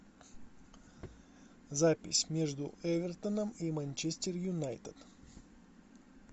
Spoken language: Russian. запись между эвертоном и манчестер юнайтед